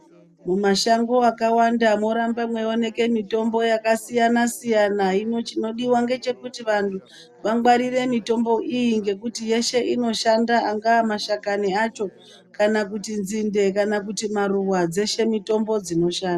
Mumashango akawanda morambe mweioneke mitombo yakasiyana-siyana. Hino chinodiwa ngechekuti vanhu vangwarire mitombo iyi ngekuti yeshe inoshanda. Angaa mashakani acho kana kuti nzinde kana kuti maruva. Dzeshe mitombo dzinosha...